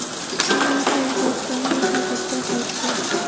Endi esa O‘zbekistonga tobutda qaytdi.